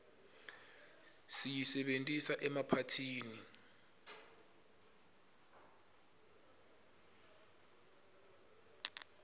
siyisebentisa emaphathini